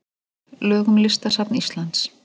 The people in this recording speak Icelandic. Lög um Listasafn Íslands.